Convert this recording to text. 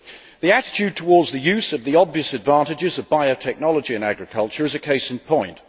The attitude towards the use of the obvious advantages of biotechnology in agriculture is a case in point.